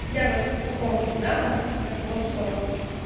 я вот по поводу да от того что